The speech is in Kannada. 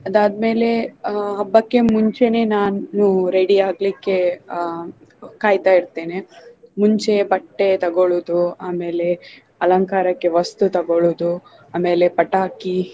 ಅದಾದ್ಮೇಲೆ ಆಹ್ ಹಬ್ಬಕ್ಕೆ ಮುಂಚೆನೆ ನಾನು ready ಆಗ್ಲಿಕೆ ಆಹ್ ಕಾಯ್ತಾ ಇರ್ತೆನೆ ಮುಂಚೆ ಬಟ್ಟೆ ತಗೊಳುದು ಆಮೇಲೆ ಅಲಂಕಾರಕ್ಕೆ ವಸ್ತು ತಗೊಳುದು ಆಮೇಲೆ ಪಟಾಕಿ